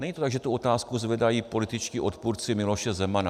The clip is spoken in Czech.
Není to tak, že tu otázku zvedají političtí odpůrci Miloše Zemana.